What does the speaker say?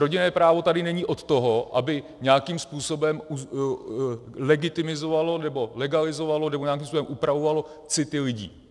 Rodinné právo tady není od toho, aby nějakým způsobem legitimizovalo nebo legalizovalo nebo nějakým způsobem upravovalo city lidí.